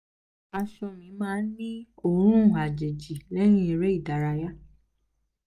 aṣọ mi máa ń ní ń ní òórùn àjèjì lẹ́yìn eré ìdárayá